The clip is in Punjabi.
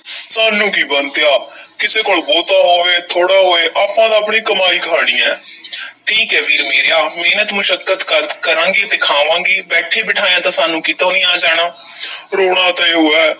ਸਾਨੂੰ ਕੀ ਬੰਤਿਆ ਕਿਸੇ ਕੋਲ ਬਹੁਤਾ ਹੋਵੇ, ਥੋੜ੍ਹਾ ਹੋਏ ਆਪਾਂ ਤਾਂ ਆਪਣੀ ਕਮਾਈ ਖਾਣੀ ਐ ਠੀਕ ਐ ਵੀਰ ਮੇਰਿਆ, ਮਿਹਨਤ ਮੁਸ਼ੱਕਤ ਕਰ~ ਕਰਾਂਗੇ ਤੇ ਖਾਵਾਂਗੇ, ਬੈਠੇ-ਬਿਠਾਇਆਂ ਤਾਂ ਸਾਨੂੰ ਕਿਤੋਂ ਨਹੀਂ ਆ ਜਾਣਾ ਰੋਣਾ ਤਾਂ ਇਹੋ ਹੈ,